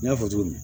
N y'a fɔ cogo min